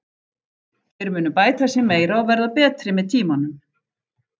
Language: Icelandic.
Þeir munu bæta sig meira og verða betri með tímanum.